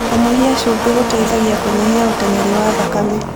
Kũnyĩhĩa cũbĩ gũteĩthagĩa kũnyĩhĩa ũtengerĩ wa thakame